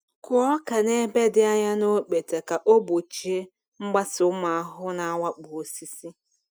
Kụọ ọka n’ebe dị anya na okpete ka ị gbochie mgbasa ụmụ ahụhụ na-awakpo osisi.